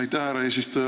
Aitäh, härra eesistuja!